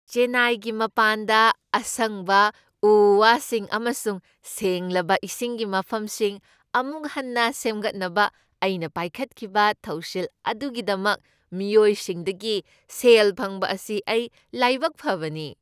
ꯆꯦꯟꯅꯥꯏꯒꯤ ꯃꯄꯥꯟꯗ ꯑꯁꯪꯕ ꯎ ꯋꯥꯁꯤꯡ ꯑꯃꯁꯨꯡ ꯁꯦꯡꯂꯕ ꯏꯁꯤꯡꯒꯤ ꯃꯐꯝꯁꯤꯡ ꯑꯃꯨꯛ ꯍꯟꯅ ꯁꯦꯝꯒꯠꯅꯕ ꯑꯩꯅ ꯄꯥꯏꯈꯠꯈꯤꯕ ꯊꯧꯁꯤꯜ ꯑꯗꯨꯒꯤꯗꯃꯛ ꯃꯤꯑꯣꯏꯁꯤꯡꯗꯒꯤ ꯁꯦꯜ ꯐꯪꯕ ꯑꯁꯤ ꯑꯩ ꯂꯥꯏꯕꯛ ꯐꯕꯅꯤ꯫